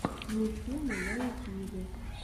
мультфильмы на ютюбе